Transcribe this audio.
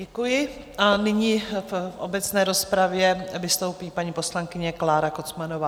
Děkuji a nyní v obecné rozpravě vystoupí paní poslankyně Klára Kocmanová.